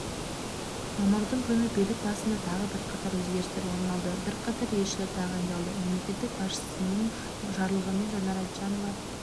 мамырдың күні билік басында тағы бірқатар өзгерістер орын алды бірқатар елшілер тағайындалды мемлекет басшысының жарлығымен жанар айтжанова